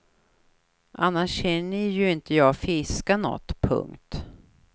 Annars hinner ju inte jag fiska något. punkt